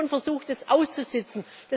Die Kommission versucht, das auszusitzen.